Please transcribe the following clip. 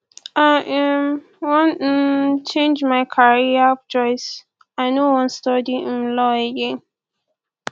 i um wan um change my career choice i no wan study um law again